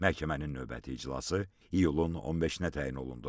Məhkəmənin növbəti iclası iyulun 15-nə təyin olundu.